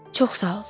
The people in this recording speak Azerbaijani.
Çox sağ ol.